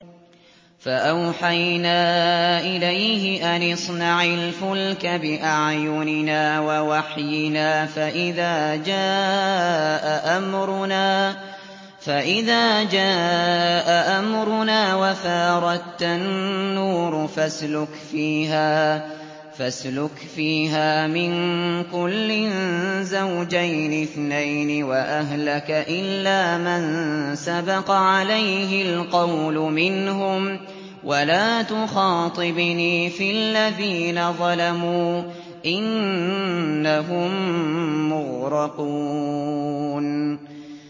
فَأَوْحَيْنَا إِلَيْهِ أَنِ اصْنَعِ الْفُلْكَ بِأَعْيُنِنَا وَوَحْيِنَا فَإِذَا جَاءَ أَمْرُنَا وَفَارَ التَّنُّورُ ۙ فَاسْلُكْ فِيهَا مِن كُلٍّ زَوْجَيْنِ اثْنَيْنِ وَأَهْلَكَ إِلَّا مَن سَبَقَ عَلَيْهِ الْقَوْلُ مِنْهُمْ ۖ وَلَا تُخَاطِبْنِي فِي الَّذِينَ ظَلَمُوا ۖ إِنَّهُم مُّغْرَقُونَ